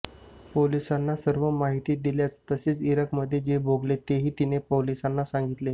पोलिसांना सर्व माहिती दिल्याचं तसेच इराकमध्ये जे भोगाले तेही तिनं पोलिसांना सांगितले